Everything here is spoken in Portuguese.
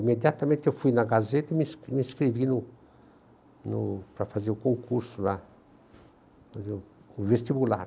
Imediatamente eu fui na Gazeta e me me inscrevi no no para fazer o concurso lá, fazer o vestibular.